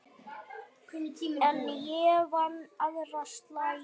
En ég vann aðra slagi.